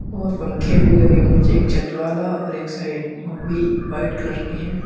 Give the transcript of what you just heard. और पंखे भी लगे हुए एक छत वाला और एक साइड वो भी व्हाइट कलर के हैं।